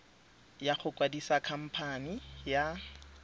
ya go kwadisa khamphane ya